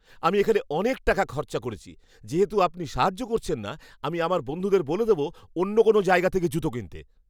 আমি এখানে অনেক টাকা খরচা করেছি। যেহেতু আপনি সাহায্য করছেন না, আমি আমার বন্ধুদের বলে দেবো অন্য কোনও জায়গা থেকে জুতো কিনতে।